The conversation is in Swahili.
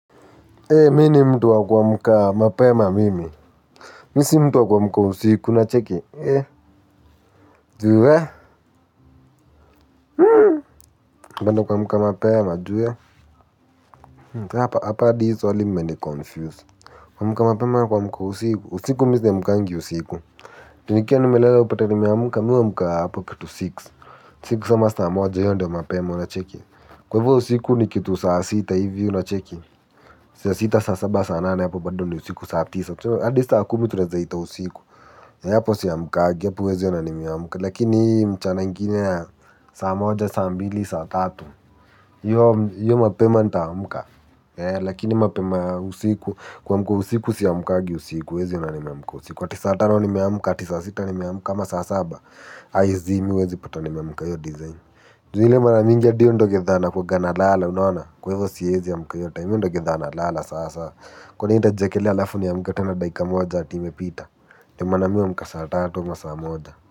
Ee mini mtu wa kuamka mapema mimi misi mtuwa kuamka usiku na cheki ee juwe penda kuamka mapema ju we hapa hadi hii swali mme niconfuse kuamka mapema kuamka usiku usiku misi amkangi usiku nikia nimelela upate ni me amka mi huamka hapo kitu six six ama saa moja hio ndio mapema unacheki kwevo usiku nikitu saa sita hivyo unacheki sia sita saa saba saa nana hapo bado ni usiku saa tisa hadi saakumi tunaezaita usiku. Ya hapo siamukagi, ya hapo wezi yonani miamka. Lakini mchana ingine sama moja, sambili, saatatu. Iyo mapema nita amka. Lakini mapema ya usiku. Kuamka usiku siamukagi usiku huwezi ona nimeamkua usiku ati satano ni meamka, ati sata nimeamuka ama saa saba Aizi mi huwezi pata ni meamuka hiyo dizain. Ju ile maraminga hadi hiyo ndo gedha nakuanga na lala unaona. Kwa hivyo siezi amka hio time hio ndio gedhana lala sasa. Kwani nitajiekelea alafu niamke tena daika mona ati imepita Time mi huamka saa tatu ama sa moja.